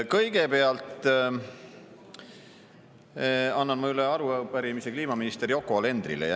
Kõigepealt annan ma üle arupärimise kliimaminister Yoko Alenderile.